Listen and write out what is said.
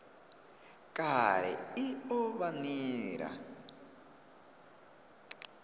kale i o vha nila